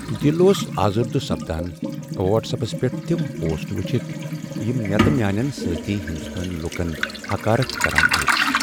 دل اوس آزردہ سپدان وٹس ایپس پیٹھ تم پوسٹ وٕچھتھ یم مےٚ تہٕ میانین سٲتھی ہنٛدوستٲنۍ لوٗکن حقارت کران ٲسۍ۔